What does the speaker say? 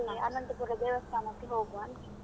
ಮತ್ತೆ ಅನಂತಪುರ ದೇವಸ್ಥಾನಕ್ಕೆ ಹೋಗುವ ಅಂತ.